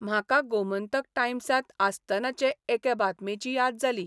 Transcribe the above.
म्हाका गोमंतक टायम्सांत आसतनाचे एके बातमेची याद जाली.